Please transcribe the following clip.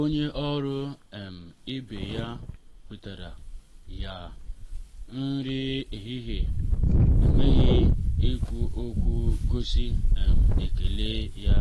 onye ọrụ um ibe ya wetara ya nri ehihie um n’enweghị ikwu okwu gosi um ekele ya